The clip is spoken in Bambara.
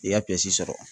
I y'a sɔrɔ